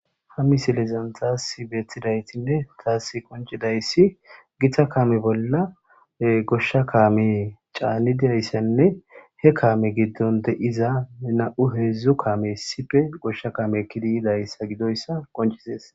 Ha misilezan tas betidayisine tas qoncidayis gita kame bola gosha kamey chanidayosanne he kame gidon deiza namu hezdzdu kamey issippe gosha kame ekidi yidoyisa konicises